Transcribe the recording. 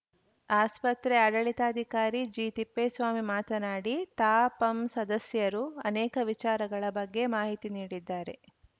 ಆಸ್ಪತ್ರೆ ಆಡಳಿತಾಧಿಕಾರಿ ಜಿತಿಪ್ಪೇಸ್ವಾಮಿ ಮಾತನಾಡಿ ತಾಪಂ ಸದಸ್ಯರು ಅನೇಕ ವಿಚಾರಗಳ ಬಗ್ಗೆ ಮಾಹಿತಿ ನೀಡಿದ್ದಾರೆ